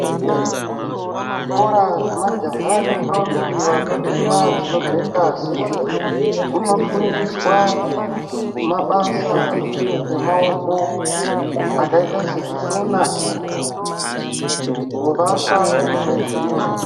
Kuzvikora zvemajaha nendombi vanotemwa dzinobve ngazi. Kunofundiswa mabasa emaoko akaita sekusona, kuvaka nezvimwe.